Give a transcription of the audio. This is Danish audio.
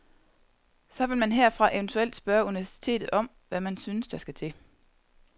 Så vil man herfra eventuelt spørge universitetet om, hvad man synes der skal til.